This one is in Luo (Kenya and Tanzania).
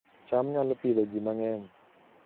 cham nyalo Pidhoo ji mang'eny